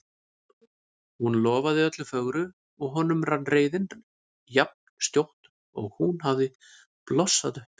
Hún lofaði öllu fögru og honum rann reiðin jafn skjótt og hún hafði blossað upp.